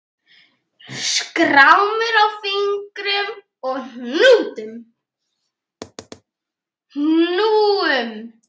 Skrámur á fingrum og hnúum.